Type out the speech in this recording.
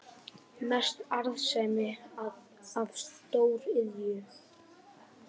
Mest arðsemi af stóriðju